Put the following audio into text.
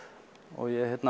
og ég